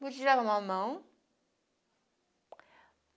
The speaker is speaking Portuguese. Não podia levar a mão.